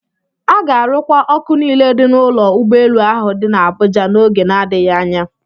A ga-arụkwa ọkụ niile dị n'ụlọ ụgbọelu ahụ dị n'Abụja n'oge na-adịghị anya.